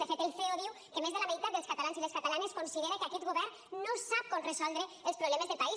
de fet el ceo diu que més de la meitat dels catalans i les catalanes considera que aquest govern no sap com resoldre els problemes del país